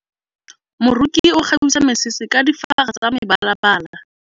Moroki o kgabisa mesese ka difaga tsa mebalabala.